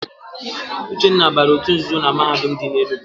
Uchenna bara òtù nzuzo na Mahadum dị n'Enugwu.